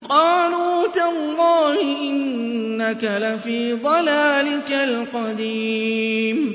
قَالُوا تَاللَّهِ إِنَّكَ لَفِي ضَلَالِكَ الْقَدِيمِ